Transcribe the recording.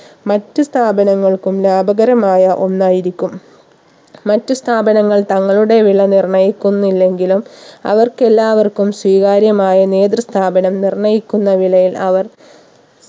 മറ്റു സ്ഥാപനങ്ങൾക്കും ലാഭകരമായ ഒന്നായിരിക്കും മറ്റു സ്ഥാപനങ്ങൾ തങ്ങളുടെ വില നിർണ്ണയിക്കുന്നില്ലെങ്കിലും അവർക്ക് എല്ലാവർക്കും സ്വീകാര്യമായ നേതൃ സ്ഥാപനം നിർണയിക്കുന്ന വിലയിൽ അവർ